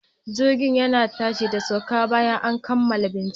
Jirgi yana tashi da sauka bayan an kammala bincike.